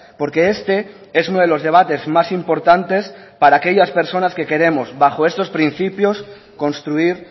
porque este es uno de los debates más importantes para aquellas personas que queremos bajo estos principios construir